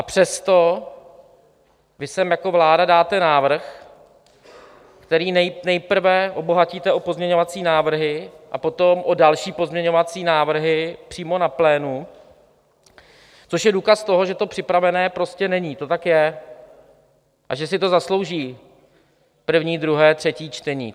A přesto vy sem jako vláda dáte návrh, který nejprve obohatíte o pozměňovací návrhy a potom o další pozměňovací návrhy přímo na plénu, což je důkaz toho, že to připravené prostě není, to tak je, a že si to zaslouží první, druhé, třetí čtení.